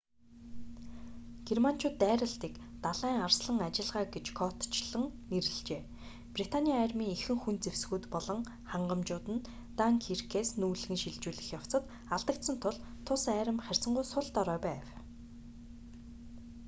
германчууд дайралтыг далайн арслан ажиллагаа гэж кодчилон нэрлэжээ британий армийн ихэнх хүнд зэвсгүүд болон хангамжууд нь данкиркээс нүүлгэн шилжүүлэх явцад алдагдсан тул тус арми харьцангуй сул дорой байв